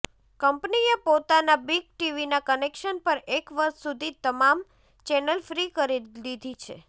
કંપનીએ પોતાના બિગ ટીવીના કનેક્શન પર એક વર્ષ સુધી તમામ ચેનલ ફ્રી કરી દીધી છે